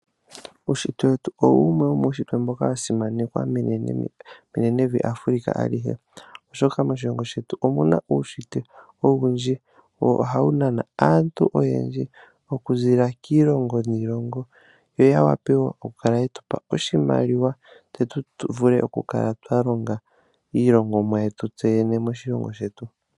Uushitwe wetu owo wumwe wa simanekwa menevi Afrika alihe, oshoka moshilongo shetu omu na uushitwe owundji nohawu nana aantu okuziilila kiilongo niilongo yo ya wape okukala ye tu pa oshimaliwa tse tu vule okukala twa longa iilongomwa yetu moshilongo shetu.